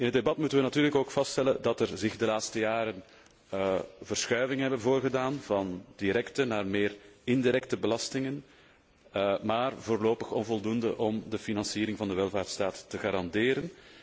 In het debat moeten wij natuurlijk ook vaststellen dat er zich de laatste jaren verschuivingen hebben voorgedaan van directe naar meer indirecte belastingen, maar voorlopig onvoldoende om de financiering van de welvaartsstaat te garanderen.